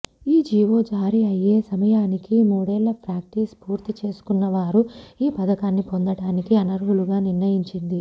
ఈ జీవో జారీ అయ్యే సమయానికి మూడేళ్ల ప్రాక్టీస్ పూర్తి చేసుకున్నవారు ఈ పథకాన్ని పొందటానికి అనర్హులుగా నిర్ణయించింది